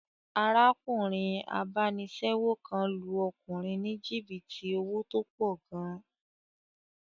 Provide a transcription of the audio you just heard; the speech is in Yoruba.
Arákùnrin abánisẹ́wò kan lu ọkùnrin ní jìbìtì owó tó pọ̀ gan